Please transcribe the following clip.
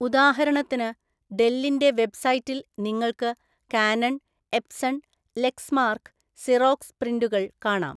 ഉദാഹരണത്തിന്, ഡെല്ലിന്റെ വെബ്സൈറ്റിൽ നിങ്ങൾക്ക് കാനൺ, എപ്സൺ, ലെക്സ്മാർക്ക്, സിറോക്സ് പ്രിന്ററുകൾ കാണാം.